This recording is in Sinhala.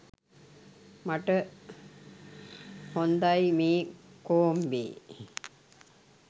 මට හොන්දයි මේ කෝම්බේ